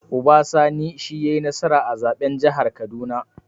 Uba Sani shi yai nasara a zaɓen jihar kaduna